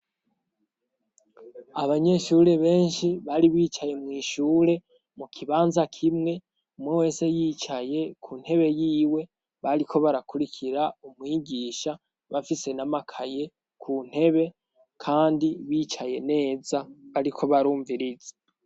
Abanyeshure benshi bari bicaye mw' ishure mu kibanza kimwe, umwe wese yicaye ku ntebe yiwe bariko barakurikira umwigisha bafise n'amakaye ku ntebe kandi bicaye neza bariko barumviriza.